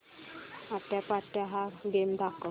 आट्यापाट्या हा गेम दाखव